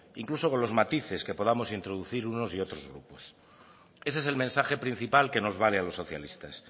incluso con los matices que podamos introducir unos y otros grupos ese es el mensaje principal que nos vale a los socialistas